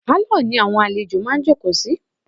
Pálọ̀ ni àwọn àlejò máa ǹ jókòó sí.